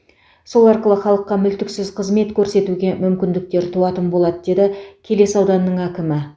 сол арқылы халыққа мүлтіксіз қызмет көрсетуге мүмкіндіктер туатын болады деді келес ауданының әкімі